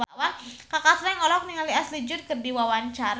Kaka Slank olohok ningali Ashley Judd keur diwawancara